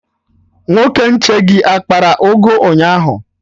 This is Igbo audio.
Nwoke nche gị akpara ụgụ ụnyaahụ?